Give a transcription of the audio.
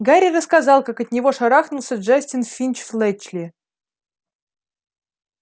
гарри рассказал как от него шарахнулся джастин финч-флетчли